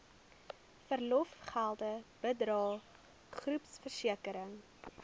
verlofgelde bydrae groepversekering